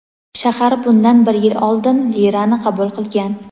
Shahar bundan bir yil oldin lirani qabul qilgan.